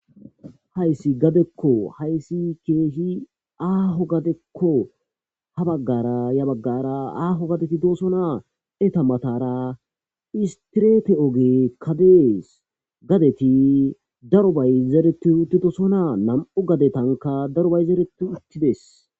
Hayssi gadekko hayssi kehi aaho gadeko ha bagara ya bagara aaho gade gidosona Etta mathara istrethe ogekka dees gadethi darobay zereththi uthidosonna nammu' gadethanka darobay zerethiuthidess.